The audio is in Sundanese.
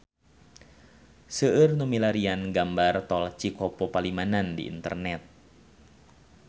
Seueur nu milarian gambar Tol Cikopo Palimanan di internet